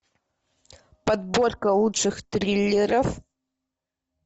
подборка лучших триллеров